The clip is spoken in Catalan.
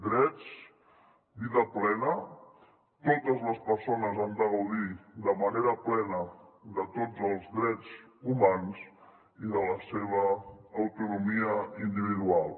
drets vida plena totes les persones han de gaudir de manera plena de tots els drets humans i de la seva autonomia individual